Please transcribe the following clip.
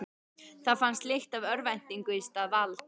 Það fannst lykt af örvæntingu í stað valds.